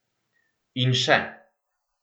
In še.